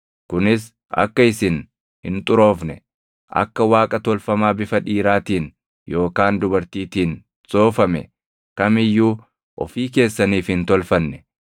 kunis akka isin hin xuroofne, akka Waaqa tolfamaa bifa dhiiraatiin yookaan dubartiitiin soofame kam iyyuu ofii keessaniif hin tolfanne